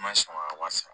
N ma sɔn ka wari sara